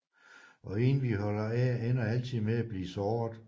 Og en vi holder af ender altid med at blive såret